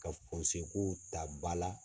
Ka fɔnse kow ta ba la.